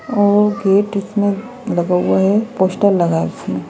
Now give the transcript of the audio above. और गेट इसमें लगा हुआ है पोस्टर लगा है उसमें --